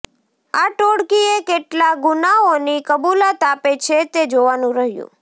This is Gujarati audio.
આ ટોળકીએ કેટલા ગુનાઓની કબૂલાત આપે છે તે જોવાનું રહ્યુ